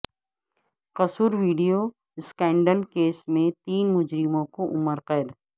قصور video scandal case میں تین مجرموں کو عمر قید